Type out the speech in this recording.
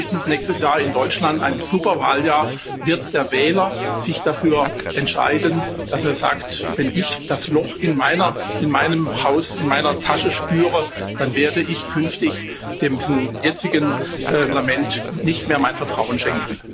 Spätestens nächstes Jahr in Deutschland ein Superwahljahr wird der Wähler sich dafür entscheiden, dass er sagt Wenn ich das Loch in meinem Haus, in meiner Tasche spüre, dann werde ich künftig diesem jetzigen Parlament nicht mehr mein Vertrauen schenken.